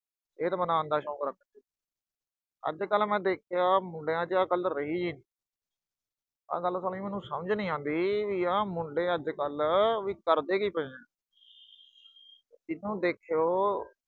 ਸਿਹਤ ਬਣਾਉਣ ਦਾ ਸ਼ੌਕ ਰੱਖਦੇ ਸੀ। ਅੱਜ-ਕੱਲ੍ਹ ਮੈਂ ਦੇਖਿਆ ਵੀ ਮੁੰਡਿਆਂ 'ਚ ਆਹ ਗੱਲ ਰਹੀ ਨੀਂ। ਆਹ ਗੱਲ ਸਾਲੀ ਮੈਨੂੰ ਸਮਝ ਨੀਂ ਆਉਂਦੀ ਅਹ ਵੀ ਆਹ ਮੁੰਡੇ ਅੱਜ-ਕੱਲ੍ਹ ਕਰਦੇ ਕੀ ਪਏ ਆ। ਜੀਹਨੂੰ ਦੇਖਿਓ